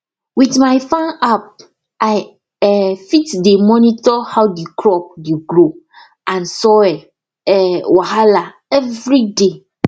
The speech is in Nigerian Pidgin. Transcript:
with my farm app i um fit dey monitor how the crop dey grow and soil um wahala everyday